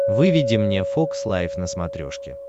выведи мне фокс лайф на смотрешке